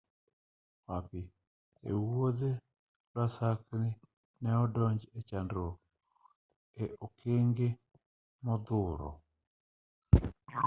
e wuodhe iwasaki ne odonje e chandruok e-okenge modhuro